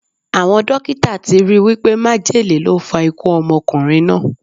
Awọn dokita ti ri wipe májèlé ló fa ikú ọmọkunrin naa